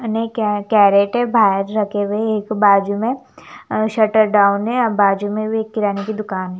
क्या क्या रेट है बाहर रखे हुए एक बाजू में और शटर डाउन है और बाजू में भी एक किराने की दुकान है।